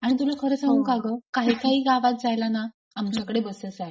आणि तुला खरे सांगू का ग काही काही गावात जायला ना आमच्याकडे बसच आहे.